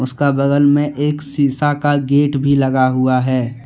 उसका बगल में एक शीशा का गेट भी लगा हुआ है।